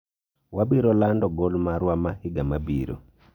wabiro lando gol marwa ma higa mabiro